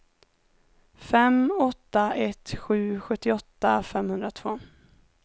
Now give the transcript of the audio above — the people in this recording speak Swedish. fem åtta ett sju sjuttioåtta femhundratvå